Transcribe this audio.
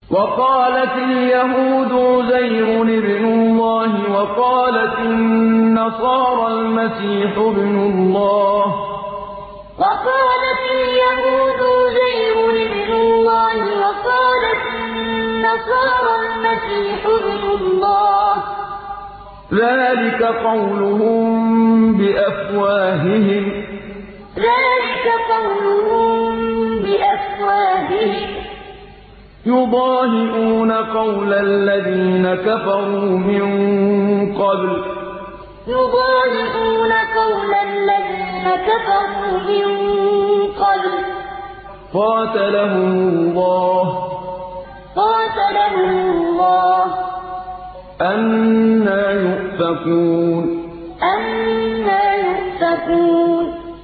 وَقَالَتِ الْيَهُودُ عُزَيْرٌ ابْنُ اللَّهِ وَقَالَتِ النَّصَارَى الْمَسِيحُ ابْنُ اللَّهِ ۖ ذَٰلِكَ قَوْلُهُم بِأَفْوَاهِهِمْ ۖ يُضَاهِئُونَ قَوْلَ الَّذِينَ كَفَرُوا مِن قَبْلُ ۚ قَاتَلَهُمُ اللَّهُ ۚ أَنَّىٰ يُؤْفَكُونَ وَقَالَتِ الْيَهُودُ عُزَيْرٌ ابْنُ اللَّهِ وَقَالَتِ النَّصَارَى الْمَسِيحُ ابْنُ اللَّهِ ۖ ذَٰلِكَ قَوْلُهُم بِأَفْوَاهِهِمْ ۖ يُضَاهِئُونَ قَوْلَ الَّذِينَ كَفَرُوا مِن قَبْلُ ۚ قَاتَلَهُمُ اللَّهُ ۚ أَنَّىٰ يُؤْفَكُونَ